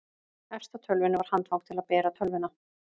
efst á tölvunni var handfang til að bera tölvuna